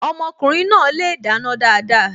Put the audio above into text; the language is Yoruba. Ọmọkùnrin náà le dáná dáadáa.